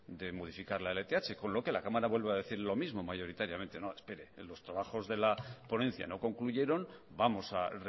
de modificar la lth con lo que la cámara vuelve a decir lo mismo mayoritariamente no espere los trabajos de la ponencia no concluyeron vamos a